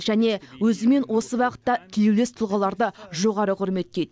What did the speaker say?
және өзімен осы бағытта тілеулес тұлғаларды жоғары құрметтейді